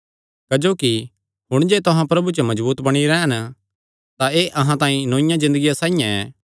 क्जोकि हुण जे तुहां प्रभु च मजबूत बणी रैह़न तां एह़ अहां तांई नौईआ ज़िन्दगिया साइआं ऐ